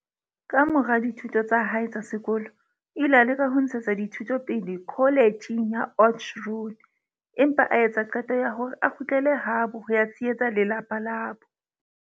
Kamora dithuto tsa hae tsa sekolo, o ile a leka ho ntshetsa dithuto pele kholetjheng ya Oudtshoorn, empa a etsa qeto ya hore a kgutlele habo ho ya tshehetsa lelapa labo.